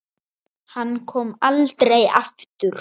Hann kom aldrei aftur.